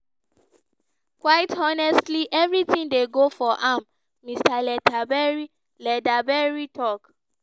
"quite honestly everything dey go for am" mr leatherbury leatherbury tok.